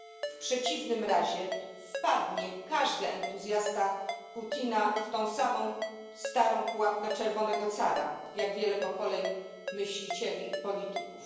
W przeciwnym razie wpadnie każdy entuzjasta Putina w tę samą starą pułapkę czerwonego cara jak wiele pokoleń myślicieli i polityków.